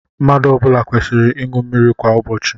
Mmadụ ọ bụla kwesịrị ịṅụ mmiri kwa ụbọchị.